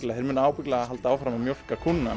þeir munu ábyggilega halda áfram að mjólka kúna